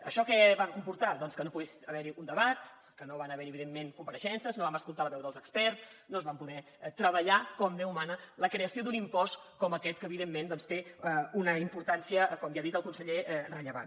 això què va comportar doncs que no pogués haver hi un debat que no van haver hi evidentment compareixences no vam escoltar la veu dels experts no es va poder treballar com déu mana la creació d’un impost com aquest que evidentment doncs té una importància com ja ha dit el conseller rellevant